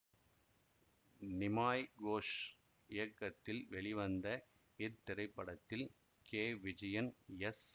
நிமாய் கோஷ் இயக்கத்தில் வெளிவந்த இத்திரைப்படத்தில் கே விஜயன் எஸ்